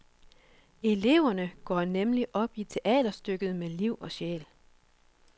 Eleverne går nemlig op i teaterstykket med liv og sjæl.